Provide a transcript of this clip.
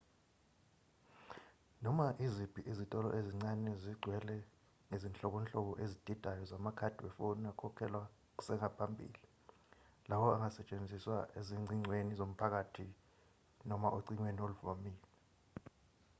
noma iziphi izitolo ezincane zigcwele ngezinhlobonhlobo ezididayo zamakhadi wefoni akhokhelwa kusengaphambili lawo angasetshenziswa ezingcingweni zomphakathi noma ocingweni oluvamile